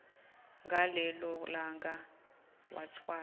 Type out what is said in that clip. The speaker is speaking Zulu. ngalelo langa wathwala